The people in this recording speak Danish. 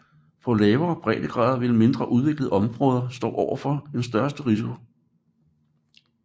På lavere breddegrader vil mindre udviklede områder stå overfor den største risiko